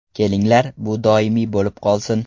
Kelinglar, bu doimiy bo‘lib qolsin.